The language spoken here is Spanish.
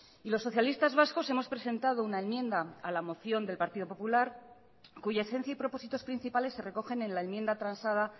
y los socialistas vascos hemos presentado una enmienda a la moción del partido popular cuya esencia y propósitos principales se recogen en la enmienda transada